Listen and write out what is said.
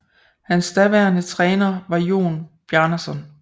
Hans daværende træner var Jón Bjarnason